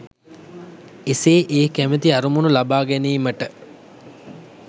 එසේ ඒ කැමැති අරමුණු ලබා ගැනීමට